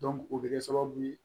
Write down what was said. o bɛ kɛ sababu ye